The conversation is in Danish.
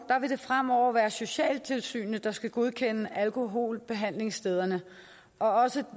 vil det fremover være socialtilsynet der skal godkende alkoholbehandlingsstederne og også